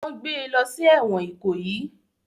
Wọ́n gbé e lọ sí ẹ̀wọ̀n Ikoyi